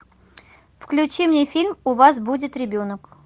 включи мне фильм у вас будет ребенок